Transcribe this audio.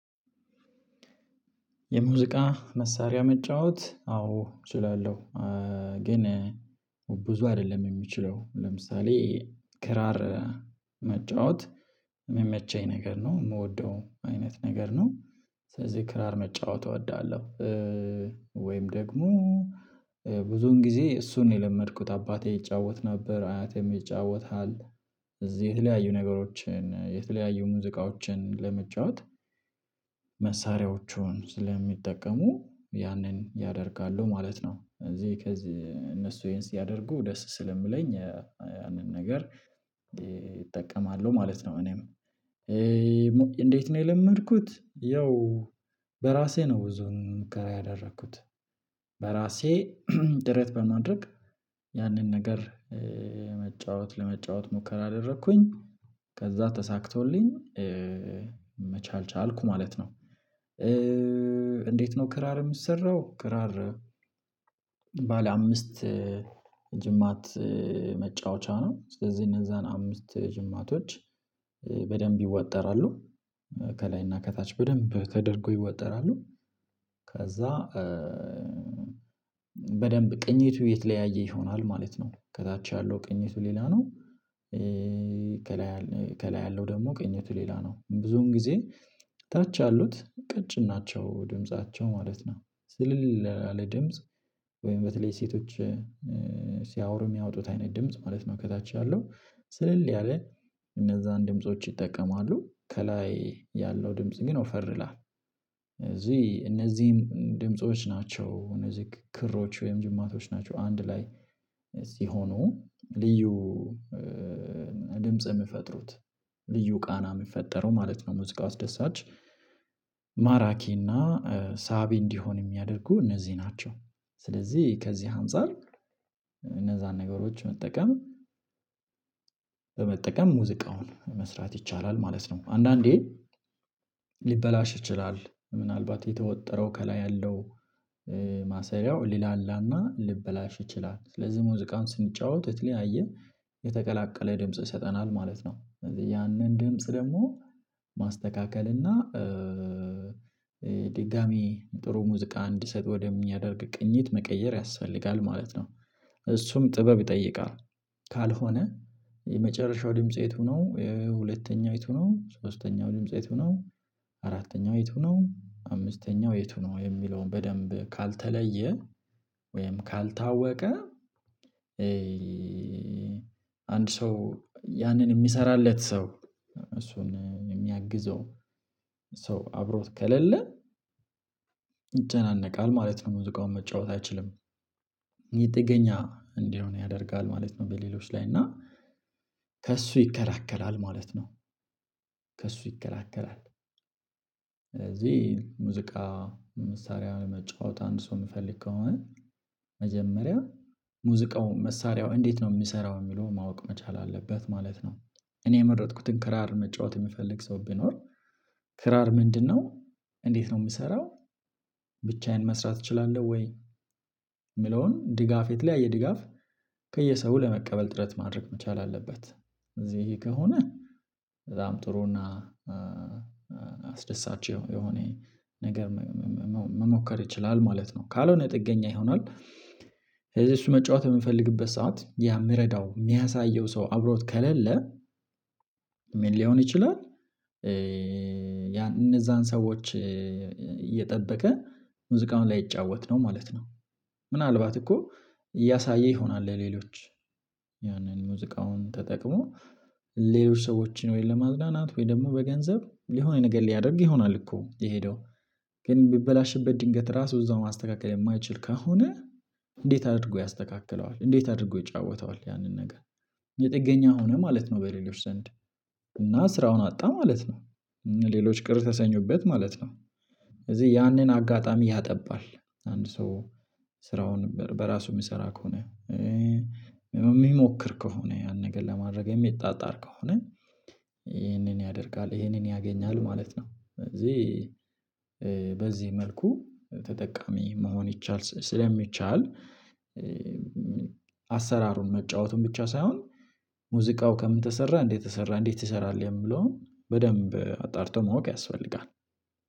የሙዚቃ መሳሪያ መጫወት አዎ እችላለሁ፣ ግን ብዙ አይደለም የሚችለው ለምሳሌ ክራር መጫወት የሚመቸኝ ነገር ነው የምወደው አይነት ነገር ነው፣ ስለዚህ ክራር መጫወት እወዳለሁ ወይም ደግሞ ብዙን ጊዜ እሱን የለመድኩት አባቴ ይጫወት ነበር አያቴም ይጫወታል እዚህ የተለያዩ ነገሮችን የተለያዩ ሙዚቃዎችን ለመጫወት መሳሪያዎቹን ስለሚጠቀሙ ያንን ያደርጋሉ ማለት ነው እዚህ ከዚህ እነሱ ይሄን ሲያደርጉ ደስ ስለምለኝ ያንን ነገር እጠቀማለሁ ማለት ነው እኔም የለመድኩት ያው በራሴ ነው ብዙን ሙከራ ያደረኩት በራሴ ድረጥ በማድረግ ያንን ነገር መጫወት ለመጫወት ሙከራ አደረኩኝ ከዛ ተሳክቶልኝ መቻል ቻልኩ ማለት ነው። እንዴት ነው ክራር የምትሰራው? ክራር ባለ አምስት ጅማት መጫወቻ ነው፣ ስለዚህ እነዛን አምስት ጅማቶች በደንብ ይወጠራሉ ከላይና ከታች በደንብ ተደርጎ ይወጠራሉ ከዛ በደንብ ቅኝቱ የተለያየ ይሆናል ማለት ነው ከታች ያለው ቅኝቱ ሌላ ነው ከላይ ያለው ደግሞ ቅኝት ሌላ ነው ብዙን ጊዜ ታች ያሉት ቀጭን ናቸው ድምፃቸው ማለት ነው ስልል ለድምጽ ወይም በተለይ ሴቶች ሲያወሩ የሚያወጡት አይነት ድምጽ ማለት ነው ከታች ያለው ስልል ያለ እነዛን ድምጾች ይጠቀማሉ ከላይ ያለው ድምጽ ግን ወፈር ይላል እዚህ እነዚህም ድምጾች ናቸው እነዚህ ክሮች ወይም ጅማቶች ናቸው አንድ ላይ ሲሆኑ ልዩ ድምጽ የምፈጥሩት ልዩ ቃና የምፈጠረው ማለት ነው ሙዚቃው አስደሳች ማራኪ እና ሳቢ እንዲሆን የሚያደርጉ እነዚህ ናቸው። ስለዚህ ከዚህ አንፃር እነዛን ነገሮች መጠቀም በመጠቀም ሙዚቃውን መስራት ይቻላል ማለት ነው። አንዳንዴ ሊበላሽ ይችላል ምናልባት የተወጠረው ከላይ ያለው ማሰሪያው ሊላላና ልበላሽ ይችላል። ስለዚህ ሙዚቃን ስንጫወት የተለያየ የተቀላቀለ ድምጽ ይሰጠናል ማለት ነው ስለዚህ ያንን ድምጽ ደግሞ ማስተካከል እና ድጋሚ ጥሩ ሙዚቃ እንዲሰጥ ወደሚያደርግ ቅኝት መቀየር ያስፈልጋል ማለት ነው፣ እሱም ጥበብ ይጠይቃል ካልሆነ የመጨረሻው ድምጽ የቱ ነው፣ የሁለተኛው የቱ ነው፣ ሶስተኛው ድምጽ የቱ ነው፣ አራተኛው የቱ ነው፣ አምስተኛው የቱ ነው የሚለውን በደንብ ካልተለየ ወይም ካልታወቀ አንድ ሰው ያንን የሚሰራለት ሰው እሱን የሚያግዘው ሰው አብሮት ከሌለ ይጨናነቃል ማለት ነው መዚቃውን መጫወት አይችልም ይህ ጥገኛ እንዲሆን ያደርጋል ማለት ነው በሌሎች ላይ እና ከእሱ ይከላከል ማለት ነው። ከእሱ ይከላከላል ስለዚህ ሙዚቃ መሳሪያ መጫወት አንድ ሰው የሚፈልግ መጀመሪያ ሙዚቃው መሳሪያው እንዴት ነው የሚሰራው የሚለው ማወቅ መቻል አለበት ማለት ነው እኔ የመረጥኩትን ክራር መጫወት የምፈልግ ሰው ቢኖር ክራር ምንድነው? እንዴት ነው የሚሰራው? ብቻዬን መስራት እችላለሁ ወይ? የሚለውን ድጋፍ የተለያየ ድጋፍ ከየሰው ለመቀበል ጥረት ማድረግ መቻል አለበት እዚህ ከሆነ በጣም ጥሩና አስደሳች የሆነ ነገር መሞከር ይችላል ማለት ነው፣ ካልሆነ ጥገኛ ይሆናል ስለዚህ እሱ መጫወት የሚፈልግበት ሰዓት የሚረዳው የሚያሳየው ሰው አብሮት ከሌለ ምን ሊሆን ይችላል ያን እነዛን ሰዎች እየጠበቀ ሙዚቃውን ላይጫወት ነው ማለት ነው ምናልባት እኮ እያሳየ ይሆናል ለሌሎች ያንን ሙዚቃውን ተጠቅሞ ሌሎች ሰዎችን ወይስ ለማዝናናት ወይስ ደግሞ በገንዘብ የሆነ ነገር ሊያደርግ ይሆናል እኮ የሄደው ግን ቢበላሽበት ድንገት ራሱ እዛው ማስተካከል የማይችል ከሆነ እንዴት አድርጎ ያስተካክለዋል እንዴት አድርጎ ይጫወተዋል ያንን ነገር ጥገኛ ሆነ ማለት ነው በሌሎች ዘንድ እና ስራውን አጣ ማለት ነው ሌሎች ቅር ተሰኙበት ማለት ነው እዚህ ያንን አጋጣሚ ያጠባል፣ አንድ ሰው ስራውን በራሱ የምሰራ ከሆነ የሚሞክር ከሆነ፣ ያን ነገር ለማድረግ የሚጣጣር ከሆነ ይህንን ያደርጋል ይህንን ያገኛል ማለት ነው እዚህ በዚህ መልኩ ተጠቃሚ መሆን ይቻል ስለሚቻል አሰራሩን መጫወቱን ብቻ ሳይሆን ሙዚቃው ከምን ተሰራ እንዴት ተሰራ እንዴት ትሰራለህ የሚለውን በደንብ አጣርቶ ማወቅ ያስፈልጋል።